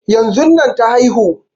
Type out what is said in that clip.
Yanzun nan ta haihu